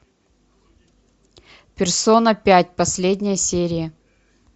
персона пять последняя серия